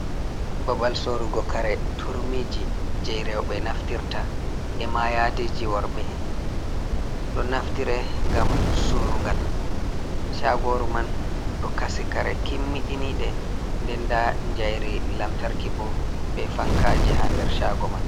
Babal sorugo kare turmiji jei roɓe naftirta e mayadiji worbe do naftire gam surungal chagoru man ɗo kasi kare kimmiɗiniɗe niɗe nden da jairi lamtarki bo be fankaji ha der shago man.